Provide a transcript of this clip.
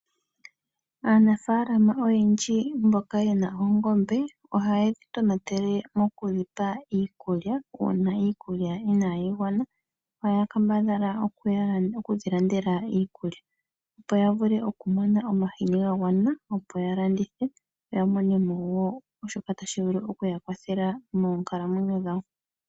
Aanafaalama oyendji mboka yena oongombe ohaye dhi tonatele mokudhipa iikulya, uuna iikulya inayi gwana ohaya kambadhala okudhilandela iikulya opo yavule okumona omahini gagwana opo yalandithe yamonemo woo shoka tashi vulu okuyakwathela moonkalamwenyo dhawo.